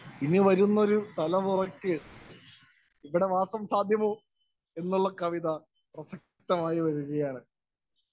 Speaker 1 ഇനി വരുന്നൊരു തലമുറയ്ക്ക് ഇവിടെ വാസം സാധ്യമോ എന്നുള്ള കവിത പ്രസക്തമായി വരികയാണ്‌.